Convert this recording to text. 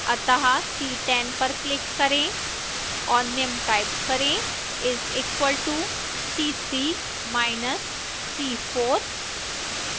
so click on अतः cell c10 पर click करें और निम्न type करें